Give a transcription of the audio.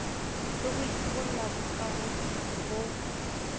le ho epolla bokahodimo bo